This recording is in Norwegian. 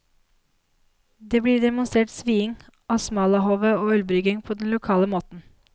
Det blir demonstrert sviing av smalahove og ølbrygging på den lokale måten.